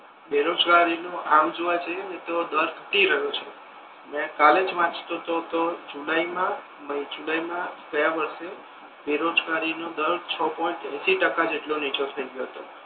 બેરોજગારી નુ આમ જોવા જઈએ ને તો દર ઘટી રહ્યો છે મે કાલે જ વાંચતો હતો તો જુલાઇ મા મઇ જુલાઈ મા ગયા વર્ષે બેરોજગારી નો દર છ પોઈન્ટ એશી ટકા જેટલો નીચો થઈ ગયો હતો.